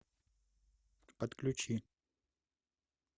подключи